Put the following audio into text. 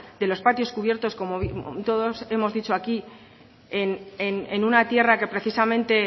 de los patios cubierto como todos hemos hecho aquí en una tierra que precisamente